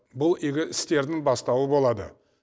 бұл игі істердің бастауы болады